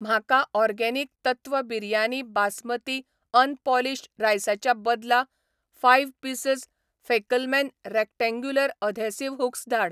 म्हाका ऑर्गेनिक तत्व बिरयानी बासमती अनपॉलिश्ड रायसाच्या बदला five pieces Fackelmann rectangular adhesive hooks धाड